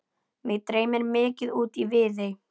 Mig dreymdi mikið út í Viðey.